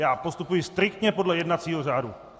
Já postupuji striktně podle jednacího řádu.